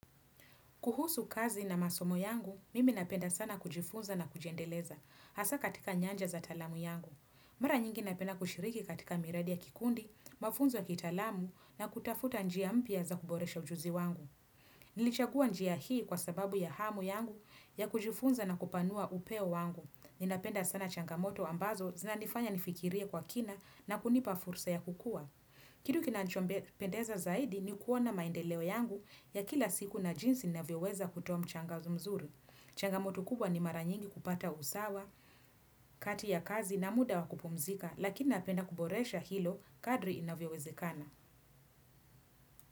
Kuhusu kazi na masomo yangu, mimi napenda sana kujifunza na kujiendeleza, hasa katika nyanja za talamu yangu. Mara nyingi napenda kushiriki katika miradi ya kikundi, mafunzo ya kitalamu na kutafuta njia mpia za kuboresha ujuzi wangu. Nilichagua njia hii kwa sababu ya hamu yangu ya kujifunza na kupanua upeo wangu. Ninapenda sana changamoto ambazo zina nifanya nifikirie kwa kina na kunipa fursa ya kukua. Kitu kinanchombe pendeza zaidi ni kuona maendeleo yangu ya kila siku na jinsi inavyoweza kutoa mchangazu mzuri. Changamoto kubwa ni maranyingi kupata usawa, kati ya kazi na muda wakupumzika lakini napenda kuboresha hilo kadri inavyewezekana.